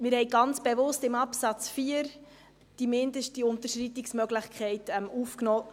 Wir haben ganz bewusst in Absatz 4 die mindeste Unterschreitungsmöglichkeit aufgenommen.